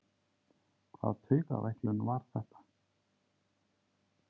Hvaða taugaveiklun var þetta?